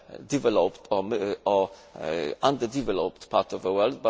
developed or under developed parts of the world